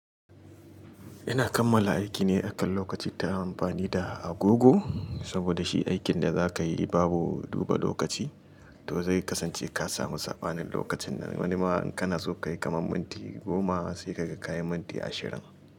Ina kammala aikine akan lokaci ta amfani da agogo. Saboda shi aikin da za ka yi babu duba lokaci to zai kasance ka samu saɓanin lokacin. Wani ma in kana so kayi kamar minti goma sai ka ga kayi minti ashirin.